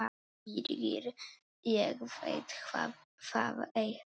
Birgir: Ég veit það ekkert.